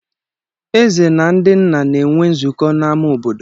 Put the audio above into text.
Ezè na ndị nna na-enwe nzukọ n'amá obodo.